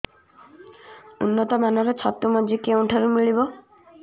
ଉନ୍ନତ ମାନର ଛତୁ ମଞ୍ଜି କେଉଁ ଠାରୁ ମିଳିବ